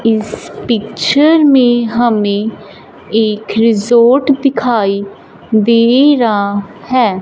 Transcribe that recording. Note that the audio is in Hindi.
इस पिक्चर में हमें एक रिसॉर्ट दिखाई दे रहा है।